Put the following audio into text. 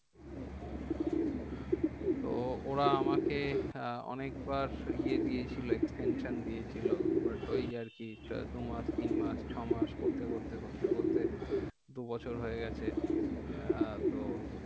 তো ওরা আমাকে অনেক বার ইয়ে দিয়েছিলো extension দিয়েছিলো। but ওই আরকি দু মাস, তিন মাস, ছয় মাস করতে করতে করতে করতে দু বছর হয়ে গেছে। আহ তো।